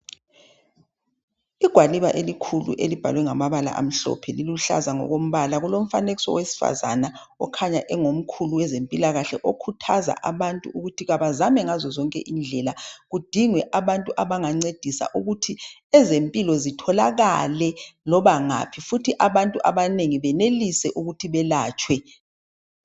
Igwaliba elikhulu elibhalwe ngamabala amhlophe liluhlaza ngokombala. Kulomfanekiso wosesifazana okhanya engomkhulu wezempilakahle okhuthaza abantu ukuthi abazame ngazozonkindlela kidingwe abantu abangancedisa ukuthi ezempilo zitholakala noma ngaphi futhi abantu benelise ukuthi